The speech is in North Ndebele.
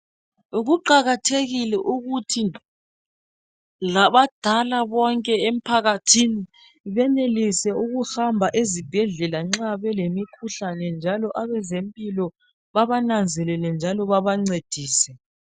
Kuqakathekile ukuthi labadala bonke emphakathini benelise ukuhamba ezibhedlela nxa belemikhuhlane njalo abezempilo babananzelele njalo babancedise